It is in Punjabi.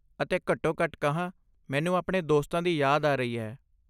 ਅਤੇ ਘੱਟੋ ਘੱਟ ਕਹਾਂ, ਮੈਨੂੰ ਆਪਣੇ ਦੋਸਤਾਂ ਦੀ ਯਾਦ ਆ ਰਹੀ ਹੈ।